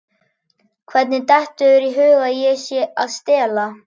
Hvernig dettur þér í hug að ég sé að stela?